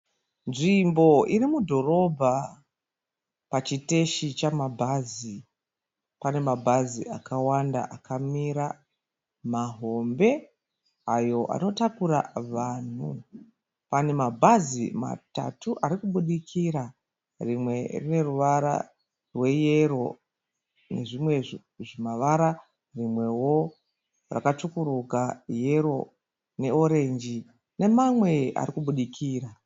Nzvimbo iri mudhorobha. Pachiteshi chemabhazi pane mabhazi akawanda akamira mahombe ayo anotakura vanhu. Pane mabhazi matatu ari kubudikira, rimwe rine ruvara rweyero nezvimwe zvimavara, rimwewo rakatsvukuruka, yero neorenji nemamwe ari kubudikira.